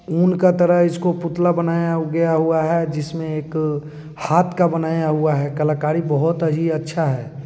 ऊन का तरह है इसको पुतला बनाया गया हुआ है जिसमें एक हाथ का बनाया हुआ है कलाकारी बहुत ही अच्छा है।